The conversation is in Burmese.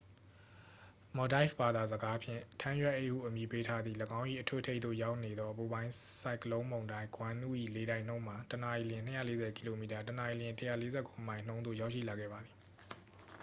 မော်ဒိုက်ဖ် ဘာသာစကားဖြင့် ထန်းရွက်အိတ်ဟုအမည်ပေးထားသည့် ၎င်း၏အထွတ်အထိပ်သို့ရောက်နေသော အပူပိုင်းဆိုင်ကလုန်းမုန်တိုင်းဂွန်နု ၏လေတိုက်နှုန်းမှာ တစ်နာရီလျှင် ၂၄၀ ကီလိုမီတာ တစ်နာရီလျှင် ၁၄၉ မိုင် နှုန်းသို့ ရောက်ရှိလာခဲ့ပါသည်။